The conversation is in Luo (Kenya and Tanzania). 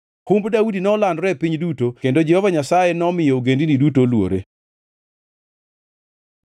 Humb Daudi nolandore e piny duto kendo Jehova Nyasaye nomiyo ogendini duto oluore.